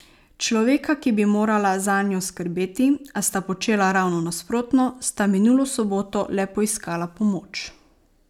Človeka, ki bi morala zanjo skrbeti, a sta počela ravno nasprotno, sta minulo soboto le poiskala pomoč.